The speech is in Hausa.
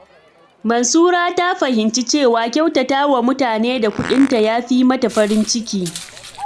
Mansura ta fahimci cewa kyautata wa mutane da kuɗinta ya fi mata farin ciki.